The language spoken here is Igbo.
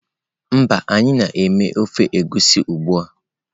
Mba, anyi na eme ofe egusi ugbua.